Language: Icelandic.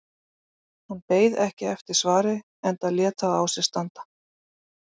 Hann beið ekki eftir svari enda lét það á sér standa.